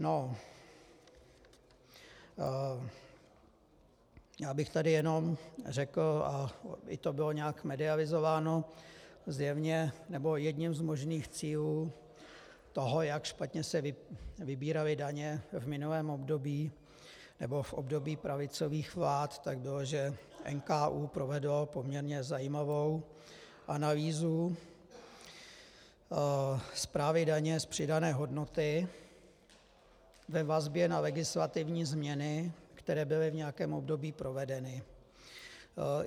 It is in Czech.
No, já bych tady jenom řekl a i to bylo nějak medializováno, zjevně, nebo jedním z možných cílů toho, jak špatně se vybíraly daně v minulém období nebo v období pravicových vlád, tak bylo, že NKÚ provedl poměrně zajímavou analýzu správy daně z přidané hodnoty ve vazbě na legislativní změny, které byly v nějakém období provedeny.